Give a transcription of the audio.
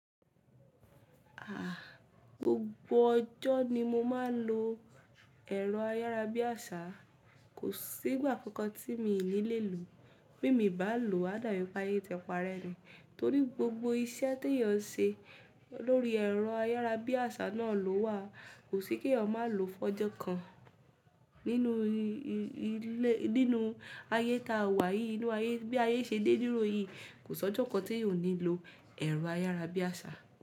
À, gbogbo ọjọ́ ni mo máa ń lo ẹ̀rọ ayárabíàṣá. Kò sí ìgbà kankan tí mi ò ní lè lò ó. Bí mi bá lò ó, á dábí pé ayé tipa rẹ ni. Torí gbogbo iṣẹ́ tí èèyàn ń ṣe lórí ẹ̀rọ ayárabíàṣá náà ló wà. Kò sí kí èèyàn má lò ó fún ọjọ́ kan, ninu nínú ayé tá a wà yìí, inú ayé bí ayé ṣe dé dúró yìí. Kò sọ́jà kan t'éyàn ò ní lo ẹ̀rọ ayárabíàṣá.